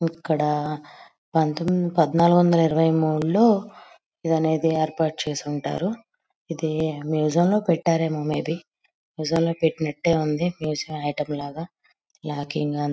ఇక్కడ పంతొమ్-పద్నాలుగు వందల ఇరవై మూడు లో ఇది అనేది ఏర్పాటు చేసి ఉంటారు ఇది మ్యూజియం లో పెట్టరేమో మెబి మ్యూజియం లో పెట్టినట్టే ఉంది మ్యూజియం ఐటెం లాగ నాకింకా--